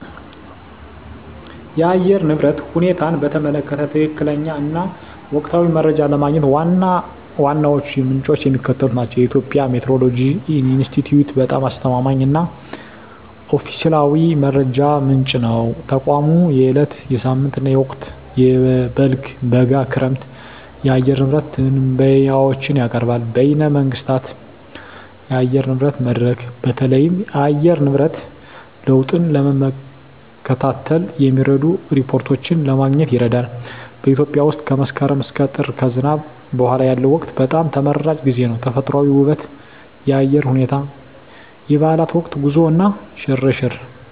የአየር ንብረት ሁኔታን በተመለከተ ትክክለኛ እና ወቅታዊ መረጃ ለማግኘት ዋና ዋናዎቹ ምንጮች የሚከተሉት ናቸው -የኢትዮጵያ ሜትዎሮሎጂ ኢንስቲትዩት በጣም አስተማማኝ እና ኦፊሴላዊ መረጃ ምንጭ ነው። ተቋሙ የዕለት፣ የሳምንት እና የወቅታዊ (በልግ፣ በጋ፣ ክረምት) የአየር ንብረት ትንበያዎችን ያቀርባል። -በይነ መንግሥታት የአየር ንብረት መድረክ: በተለይም የአየር ንብረት ለውጥን ለመከታተል የሚረዱ ሪፖርቶችን ለማግኘት ይረዳል። -በኢትዮጵያ ውስጥ ከመስከረም እስከ ጥር (ከዝናብ በኋላ ያለው ወቅት) በጣም ተመራጭ ጊዜ ነው። -ተፈጥሮአዊ ውበት -የአየር ሁኔታ -የበዓላት ወቅት -ጉዞ እና ሽርሽር